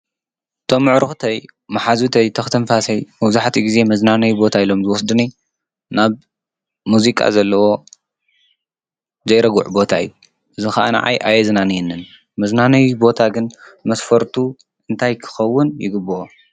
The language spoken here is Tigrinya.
እቶም ኣዕርክተይ መሓዙተይ ተክ እስትንፋሰይ መብዙሓትኡ ግዜ መንናነይ ቦታ ኢሎም ዝወስዱኒ ናብ ሙዚቃ ዘለዎ ዘይርጉዕ ቦታ እዩ። እዙይ ከዓ ንዓይ ኣየዝናንየንን። መዝናነይ ቦታ ግን መስፈርቱ እንታይ ክከውን ይግብኦ?